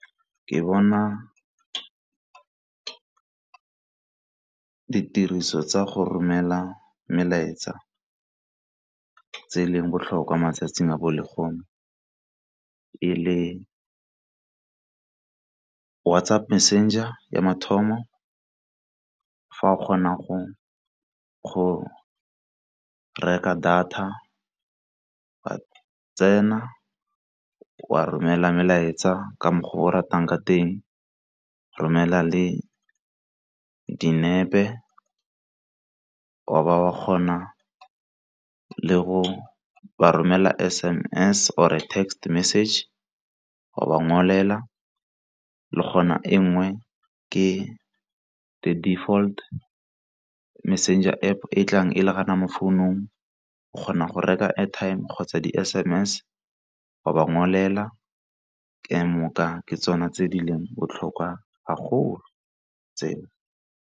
Nka tsaya seemo sa go dira call, ka ge ga o founile o kgona go utlwa lentswe la gagwe, ke moka nako tse nngwe, ke tla romela molaetsa, but ga ke batla go utlwa gore o tsogile jang, le nna ke mmutsisa mo botshelong ke tsogile jwang, mo boitekanelong ba me, ke tla mo founela.